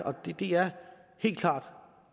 og det er helt klart